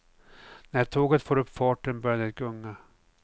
När tåget får upp farten börjar det gunga.